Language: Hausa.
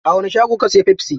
A wani shago ka siyo pepsi?